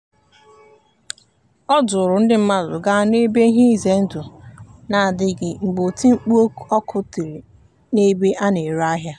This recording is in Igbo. o duuru ndị mmadụ gaa n'ebe ihe ize ndụ na-adịghị mgbe oti mkpu ọkụ tiri n'ebe a na-ere ahịa.